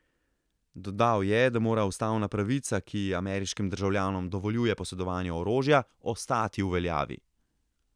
Dodal je, da mora ustavna pravica, ki ameriškim državljanom dovoljuje posedovanje orožja, ostati v veljavi.